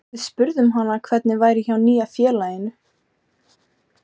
Við spurðum hana hvernig væri hjá nýja félaginu?